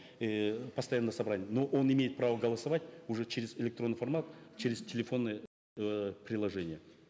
эээ постоянно на собрания но он имеет право голосовать уже через электронный формат через телефонные э приложения